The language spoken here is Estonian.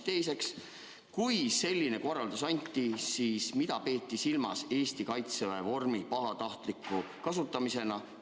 Teiseks, kui selline korraldus anti, siis mida peeti silmas Eesti Kaitseväe vormi pahatahtliku kasutamise all?